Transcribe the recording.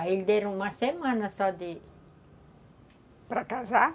Aí ele deram uma semana só de... Para casar?